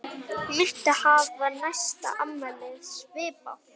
Muntu hafa næsta afmæli svipað?